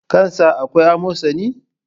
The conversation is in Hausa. Kan sa akwai amosani?